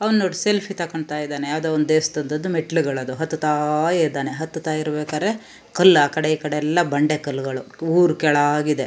ಅವ್ನ್ ನೋಡ್ ಸೆಲ್ಫಿ ತೊಕೊಂತ್ತಾ ಇದಾನೆ ಯಾವದೋ ಒಂದು ದೇವಸ್ಥಾನದು ಮೆಟ್ಲ್ ಗಳದು ಹತ್ತತಾ ಇದಾನೆ ಹತ್ತತಾ ಇರಬೇಕಾರೆ ಕಲ್ಲಾಕಡೆ ಈಕಡೆ ಎಲ್ಲಾ ಬಂಡೆ ಕಲ್ಲುಗಳು ಊರ್ ಕೆಳಾಗಿದೆ.